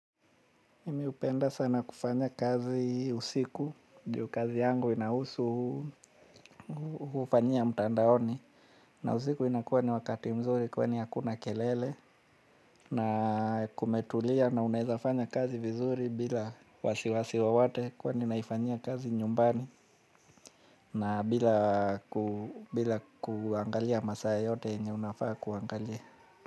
Mimi upenda sana kufanya kazi usiku, juu kazi yangu ina husu ufanyia mtandaoni na usiku inakuwa ni wakati mzuri kwa ni hakuna kelele na kumetulia na unaweza fanya kazi vizuri bila wasiwasi wowote kwani naifanyia kazi nyumbani na bila kuangalia masaa yote yenye unafaa kuangalia.